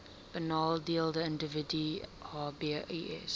benadeelde individue hbis